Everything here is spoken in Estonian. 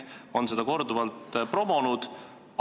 Nad on seda korduvalt promonud.